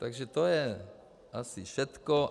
Takže to je asi všechno.